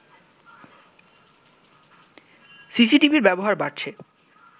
সিসিটিভির ব্যবহার বাড়ছে